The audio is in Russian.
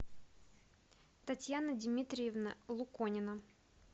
татьяна дмитриевна луконина